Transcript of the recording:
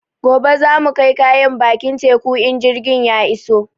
Gobe za mu kai kayan bakin teku in jirgin ya iso